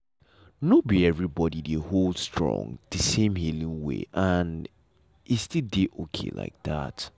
nor be everybody dey hold strong the same healing way and e still dey okay like that.